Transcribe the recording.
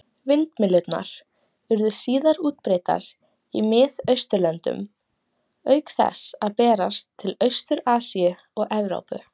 Vindmyllurnar urðu síðar útbreiddar í Mið-Austurlöndum, auk þess að berast til Austur-Asíu og Evrópu.